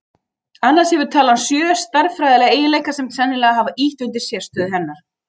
annars hefur talan sjö stærðfræðilega eiginleika sem sennilega hafa ýtt undir sérstöðu hennar